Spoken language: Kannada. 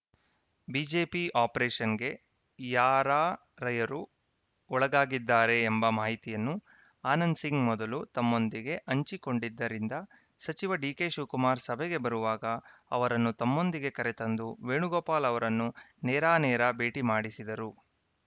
ಬಿಜೆಪಿ ಆಪರೇಷನ್‌ಗೆ ಯಾರಾರಯರು ಒಳಗಾಗಿದ್ದಾರೆ ಎಂಬ ಮಾಹಿತಿಯನ್ನು ಆನಂದ್‌ ಸಿಂಗ್‌ ಮೊದಲು ತಮ್ಮೊಂದಿಗೆ ಹಂಚಿಕೊಂಡಿದ್ದರಿಂದ ಸಚಿವ ಡಿಕೆಶಿವಕುಮಾರ್‌ ಸಭೆಗೆ ಬರುವಾಗ ಅವರನ್ನೂ ತಮ್ಮೊಂದಿಗೆ ಕರೆತಂದು ವೇಣುಗೋಪಾಲ್‌ ಅವರನ್ನು ನೇರಾನೇರ ಭೇಟಿ ಮಾಡಿಸಿದರು